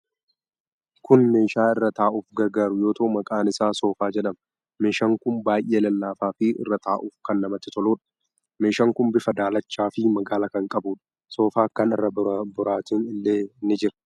Kun meeshaa irra taa'uf gargaaruu yoo ta'u, maqaan isaa soofaa jedhama. Meeshaan kun baay'ee lallaafaa fi irra taa'uf kan namatti toluudha. Meshaan kun bifa daalachaa fi magaala kan qabuudha. Soofaa kana irra boraatiin illee ni jira.